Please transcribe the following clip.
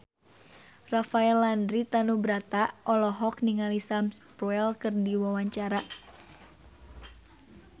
Rafael Landry Tanubrata olohok ningali Sam Spruell keur diwawancara